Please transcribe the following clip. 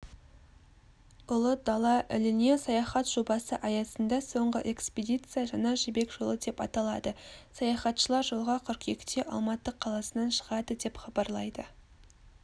ұлы дала іліне саяхат жобасы аясында соңғы экспедиция жаңа жібек жолы деп аталады саяхатшылар жолға қыркүйекте алматы қаласынан шығады деп хабарлайды